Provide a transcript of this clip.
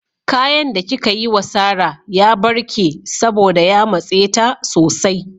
Kayan da kika yi wa Sarah ya barke saboda ya matse ta sosai.